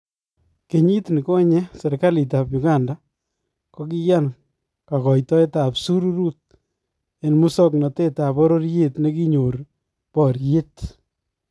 Kenyit nikonye serikaaliitab Uganda kokiyaan kakoitoetab syuuruut en musoknotetab bororyet nekinyoor baryeet